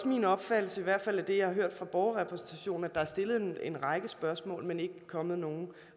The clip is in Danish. min opfattelse i hvert fald ud fra det jeg har hørt fra borgerrepræsentationen at der er stillet en række spørgsmål men ikke kommet nogen